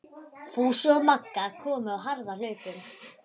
Fúsi og Magga komu á harðahlaupum.